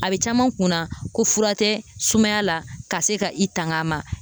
A be caman kunna ko fura tɛ sumaya la ka se ka i tang'a ma